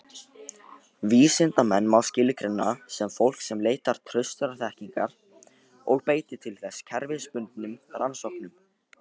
Vísindamenn má skilgreina sem fólk sem leitar traustrar þekkingar og beitir til þess kerfisbundnum rannsóknum.